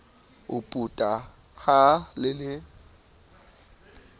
o puta ha le le